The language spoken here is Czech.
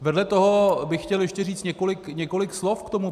Vedle toho bych chtěl ještě říct několik slov k tomu.